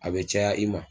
A bɛ caya i ma